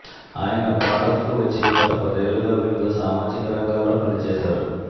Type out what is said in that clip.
ఆయన భారత్కు వచ్చి గత పదేళ్లుగా వివిధ సామాజిక రంగాల్లో పనిచేశారు